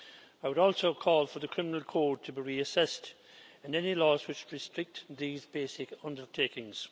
I would also call for the criminal code to be reassessed and any laws which restrict these basic undertakings.